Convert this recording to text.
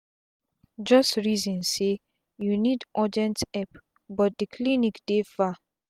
just reason say u nid urgent epp but d clinic dey far